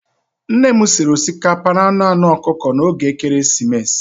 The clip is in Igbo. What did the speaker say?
Nne m sịrị osikapa na anụ anụ ọkụkọ n'oge Ekeresimesi.